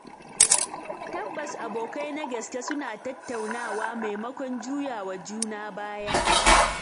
Tabbas Abokai na gaske suna tattaunawa maimakon juyawa juna baya.